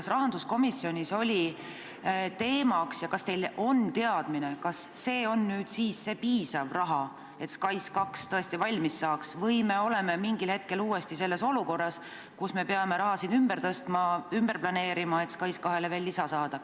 Kas rahanduskomisjonis oli see teemaks ja kas teil on teadmine, et see on nüüd see piisav raha, et SKAIS2 tõesti valmis saaks, või me oleme mingil hetkel uuesti selles olukorras, kus me peame raha ümber tõstma ja planeerima, et SKAIS2-le veel lisa saada?